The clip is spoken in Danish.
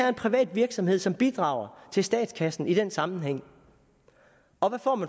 en privat virksomhed som bidrager til statskassen i den sammenhæng